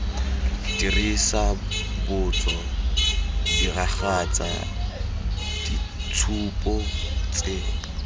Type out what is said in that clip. dirisa botso diragatsa ditshupo tse